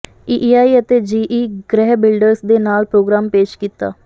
ਈਈਆਈ ਅਤੇ G E Griha builders ਦੇ ਨਾਲ ਪ੍ਰੋਗ੍ਰਾਮ ਪੇਸ਼ ਕੀਤਾ